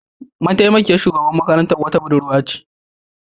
Mataimakiyar shugaban makarantar wata Budurwa ce